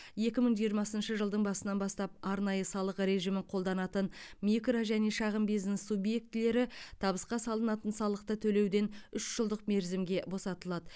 екі мың жиырмасыншы жылдың басынан бастап арнайы салық режимін қолданатын микро және шағын бизнес субъектілері табысқа салынатын салықты төлеуден үш жылдық мерзімге босатылады